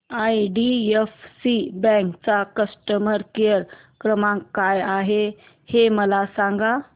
IDFC bank चा customer care क्रमांक काय आहे हे मला सांगा